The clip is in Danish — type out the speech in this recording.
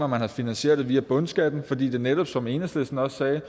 man havde finansieret det via bundskatten fordi det netop som enhedslisten også